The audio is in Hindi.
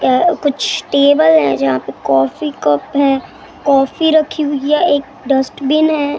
ये कुछ टेबल है जहां पे कॉफी कप है काफी रखी हुई है एक डस्टबिन है।